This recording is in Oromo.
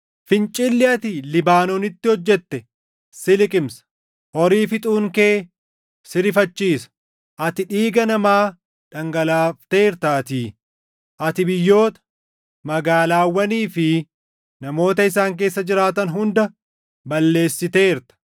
Fincilli ati Libaanoonitti hojjete si liqimsa; horii fixuun kee si rifachiisa. Ati dhiiga namaa dhangalaafteertaatii; ati biyyoota, magaalaawwanii fi namoota isaan keessa jiraatan // hunda balleessiteerta.